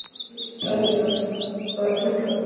Selja, hvað er klukkan?